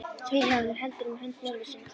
Vilhjálmur heldur um hönd mömmu sinnar.